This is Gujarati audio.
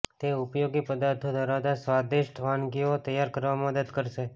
તે ઉપયોગી પદાર્થો ધરાવતા સ્વાદિષ્ટ વાનગીઓ તૈયાર કરવામાં મદદ કરશે